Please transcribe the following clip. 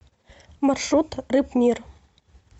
маршрут рыбмир